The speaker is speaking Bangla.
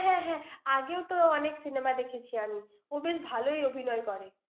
হ্যাঁ হ্যাঁ, আগেও তো ওর অনেক cinema দেখেছি আমি ৷ ও বেশ ভালই অভিনয় করে।